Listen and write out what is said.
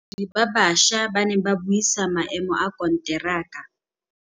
Badiri ba baša ba ne ba buisa maêmô a konteraka.